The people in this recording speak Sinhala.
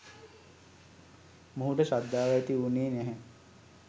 මොහුට ශ්‍රද්ධාව ඇති වුනේ නැහැ.